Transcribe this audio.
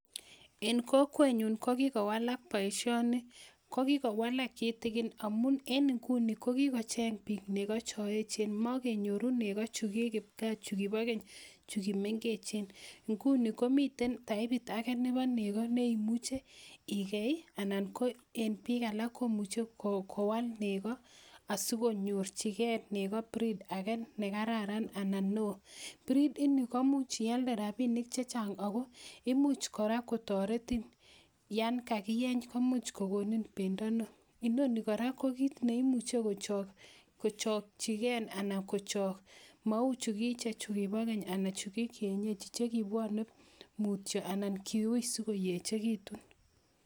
En kokwenyun ko kikowalak boishoni ko kikowalak kitikin amun en inguni ko kikocheng biik nekoo choechen mokenyoru nekoo chukii kipkaa chukiibo keny chukii meng'echen, ng'uni komiten taipit akee nebo nekoo neimuche ikeei anan ko en biik alak komuche kowal nekoo asikonyorchike nekoo breed akee nekararan anan neoo, breed inii ko imuch ialde rabinik chechang ak ko imuch kora kotoretin yoon kakiyeny komuch kokonin bendo neoo, inoni kora ko kiit neimuche kochok, kochokyiken anan kochok mouu hukichek chukibo keny chukibo kienyeji chekibwone mutyo anan kiuui sikoyechekitun.